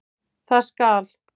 Það skal